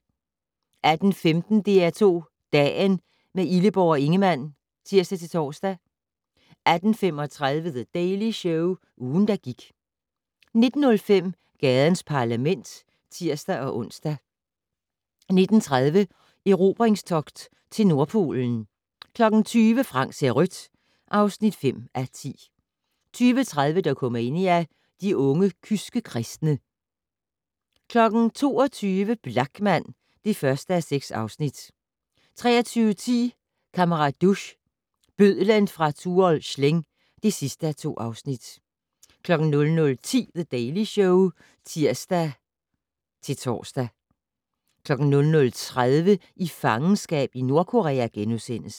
18:15: DR2 Dagen - med Illeborg og Ingemann (tir-tor) 18:35: The Daily Show - ugen, der gik 19:05: Gadens Parlament (tir-ons) 19:30: Erobringstogt til Nordpolen 20:00: Frank ser rødt (5:10) 20:30: Dokumania: De unge kyske kristne 22:00: Blachman (1:6) 23:10: Kammerat Duch - bødlen fra Tuol Sleng (2:2) 00:10: The Daily Show (tir-tor) 00:30: I fangenskab i Nordkorea *